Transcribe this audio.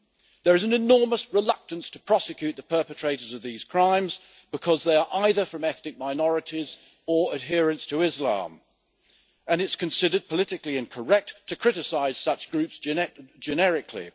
There is an enormous reluctance to prosecute the perpetrators of these crimes because they are either from ethnic minorities or adherents of Islam and it is considered politically incorrect to criticise such groups generically.